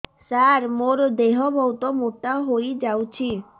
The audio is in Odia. ସାର ମୋର ଦେହ ବହୁତ ମୋଟା ହୋଇଯାଉଛି